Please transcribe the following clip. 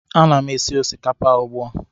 Ana m esi osikapa ugbu a